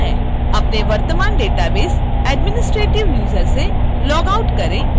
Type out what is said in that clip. अपने वर्तमान database administrative user से लॉगआउट करें